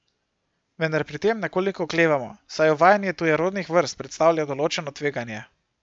Vendar pri tem nekoliko oklevamo, saj uvajanje tujerodnih vrst predstavlja določeno tveganje.